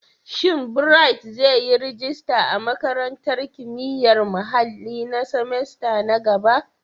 Shin Bright zai yi rajista a Makarantar Kimiyyar Muhalli na semester na gaba?